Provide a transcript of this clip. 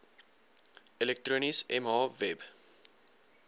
elektronies mh web